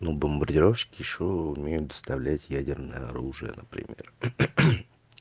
ну бомбардировщики ещё умеют доставлять ядерное оружие например